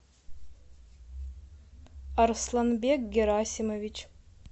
арсланбек герасимович